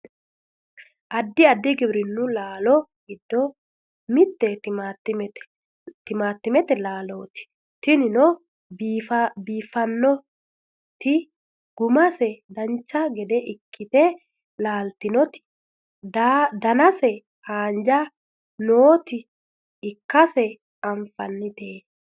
addi addi giwirinnu laalo giddo mitte timaattimete laalooti tinino biiffannoti gumase dancha gede ikkite laaltinoti danase haanja noota ikkase anfannite